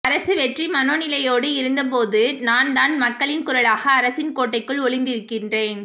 அரசு வெற்றி மனோநிலையோடு இருந்தபோதும் நான் தமிழ் மக்களின் குரலாக அரசின் கோட்டைக்குள் ஒலித்திருக்கின்றேன்